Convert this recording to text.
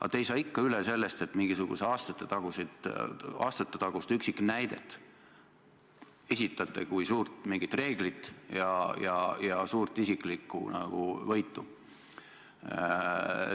Aga te ei saa ikka sellest üle, mingisugust aastatetagust üksiknäidet esitate kui mingit suurt reeglit ja nagu suurt isiklikku võitu.